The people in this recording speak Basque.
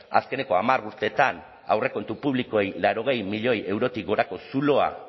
azkeneko hamar urteetan aurrekontu publikoei laurogei milioi eurotik gorako zuloa